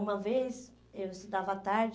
Uma vez eu estudava à tarde,